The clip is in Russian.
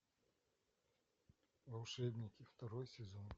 волшебники второй сезон